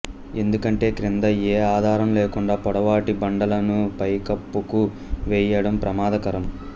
ఎందుకంటే క్రింద ఏ ఆధారం లేకుండా పొడవాటి బండలను పైకప్పుకు వేయడం ప్రమాదకరం